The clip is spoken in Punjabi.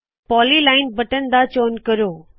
ਪੌਲੀ ਲਾਇਨ ਬਟਨ ਦਾ ਚੌਣ ਕਰੋ